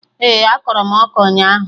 Ee, akọrọ m ọka ụnyaahụ